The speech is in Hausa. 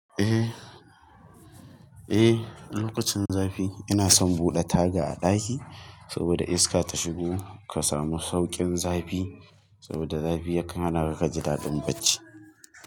Eh, eh lokacin zafi ina son buɗe taga a ɗaki saboda iska ta shigo ka samu sauƙin zafi. Saboda zafi ya kan hanaka ka ji daɗin bacci.